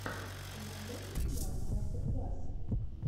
ты найдешь у себя мастер классы